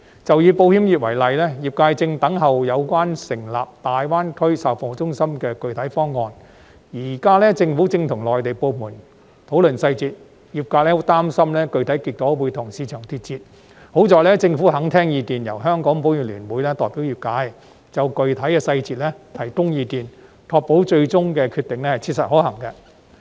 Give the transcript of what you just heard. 就以保險業為例，業界正等候有關成立大灣區售後服務中心的具體方案，而政府現在正跟內地部門討論細節，業界十分擔心具體結果會跟市場脫節；還好政府肯聽意見，由香港保險業聯會代表業界，就具體細節提供意見，確保最終的決定切實可行。